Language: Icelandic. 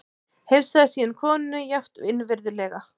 Heilsaði síðan konunni jafn innvirðulega.